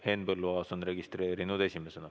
Henn Põlluaas on end registreerinud esimesena.